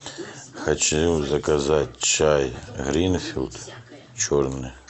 хочу заказать чай гринфилд черный